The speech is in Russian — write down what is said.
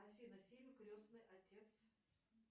афина фильм крестный отец